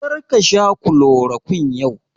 Kar ka sha kulorokwin yau!